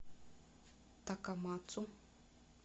такамацу